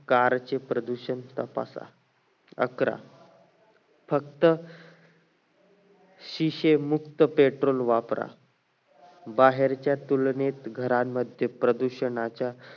car चे प्रदूषण तपासा अकरा फक्त sesame मुक्त petrol वापरा बाहेरच्या तुलनेत घरांमध्ये प्रदूषणाच्या